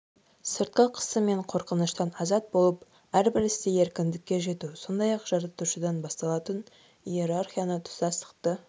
сыртқы қысым мен қорқыныштан азат болып әрбір істе еркіндікке жету сондай-ақ жартушыдан басталатын иерархияны тұтастықты